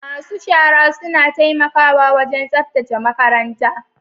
masu shara suna taimakawa wajen tsaftace makaranta.